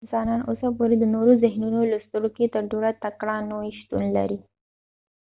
انسانان اوسه پوري د نورو د ذهنونو لوستلو کې تر ټولو تکړه نوعي شتون لري